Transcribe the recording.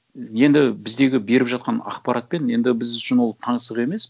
енді біздегі беріп жатқан ақпаратпен енді біз үшін ол таңсық емес